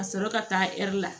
Ka sɔrɔ ka taa la